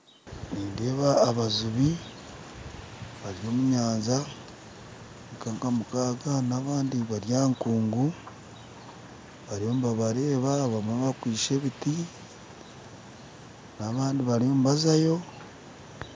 Nindeeba abajubi bari omu nyanja nka mukaaga n'abandi bari aha nkungu bariyo nibabareeba abamwe bakwaitse ebiti n'abandi bariyo nibazayo